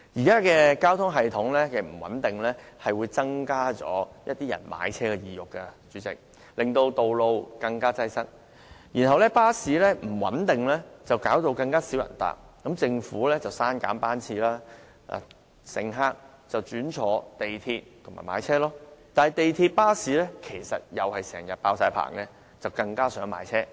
主席，交通系統不穩定，是會增加市民買車的意欲，令道路更擠塞的；巴士服務不穩定，令乘客數目下降，於是政府刪減班次，繼而令乘客轉為乘搭港鐵和買車，但港鐵和巴士其實也是經常滿座，最終令市民更想買車。